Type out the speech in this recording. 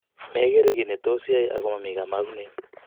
megere ui netos iyai ago momi komomgunet